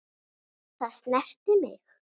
Það snerti mig.